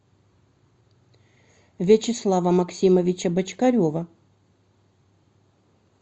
вячеслава максимовича бочкарева